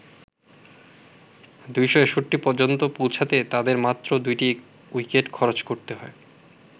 ২৬১ পর্যন্ত পৌঁছাতে তাদের মাত্র দুটি উইকেট খরচ করতে হয়।